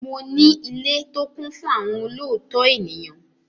Mo ní ilé tó kún fún àwọn olóòótọ́ ènìyàn.